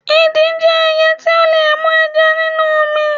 Idì jẹ́ ẹyẹ tí ó lè mú ẹja nínú omi.